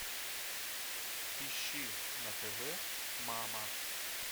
ищи на тв мама